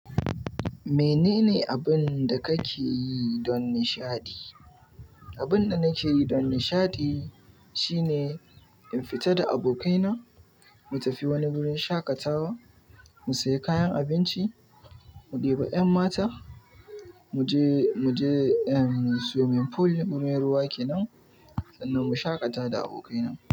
Menene abun da kake yi don nishaɗi? Abun da nake yi don nishaɗi shine in fita da abokai na mu tafi wani wurin shaƙatawa, mu sayi kayan abinci, mu ɗebi 'yan mata, mu je, mu je swimming pool wurin ruwa kenan sannan mu shaƙata da abokai na.